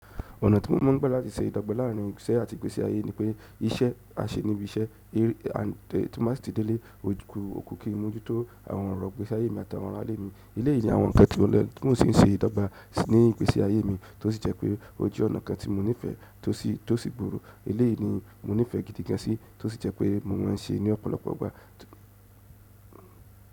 Ọ̀nà tí mo máa ń gbà láti se ìdọ́gba láàárín ìṣe àti ìgbésí ayé ni pé iṣẹ́ a ṣe níbi iṣẹ́, à ti má sì tì dé ilé, o ku òkú kín n mójú tó àwọn ọ̀rọ̀ ìgbésí ayé mi àti àwọn ará ilé mi. Eléyìí ni àwọn ǹkan tí mo lè tún sì ń se ìdọ́gba ní ìgbésí ayé mi tó sì jẹ́ pé ó jẹ́ ọ̀nà kan tí mo nífẹ̀ẹ́ tó sì burú. Eléyìí ni mo nífẹ̀ẹ́ gidi gan sí tó sì jẹ́ pé mo máa n ṣe ní ọ̀pọ̀lọpọ̀ ìgbà.